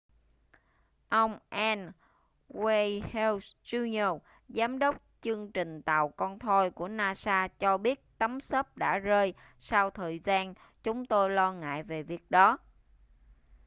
ông n wayne hale jr giám đốc chương trình tàu con thoi của nasa cho biết tấm xốp đã rơi sau thời gian chúng tôi lo ngại về việc đó